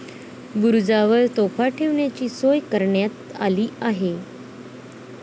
बुरूजांवर तोफा ठेवण्याची सोय करण्यात आली आहे.